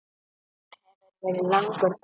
Þetta hefur verið langur dagur.